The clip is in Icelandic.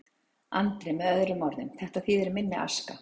Andri: Með öðrum orðum, þetta þýðir minni aska?